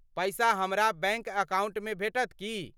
पैसा हमरा बैंक अकाउंटमे भेटत की ?